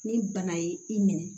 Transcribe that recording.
Ni bana ye i minɛ